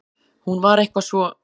Hún var eitthvað svo.